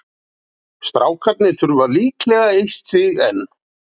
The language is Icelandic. Strákarnir þurfa líklega eitt stig enn